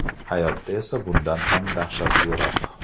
Hayotda esa bundan ham dahshatliroq.